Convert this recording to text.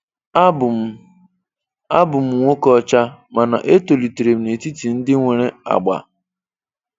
Abụ m Abụ m nwoke ọcha, mana etoliterem n'etiti ndị nwere ágbà.